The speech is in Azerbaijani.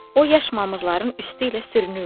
O yaş mamırların üstü ilə sürünürdü.